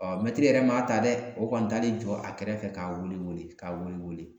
Ɔ mɛtiri yɛrɛ ma ta dɛ o kɔni tale jɔ a kɛrɛfɛ k'a weele weele k'a wele wele